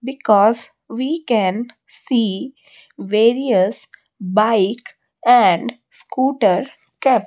because we can see various bike and scooter kept --